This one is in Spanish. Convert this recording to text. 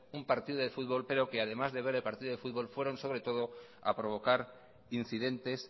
un partido de fútbol pero que además de ver el partido de fútbol fueron sobre todo a provocar incidentes